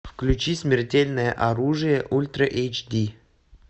включи смертельное оружие ультра эйч ди